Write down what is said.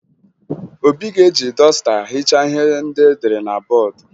Obi ga-eji dọsta hichaa ihe ndị edere na bọọdụ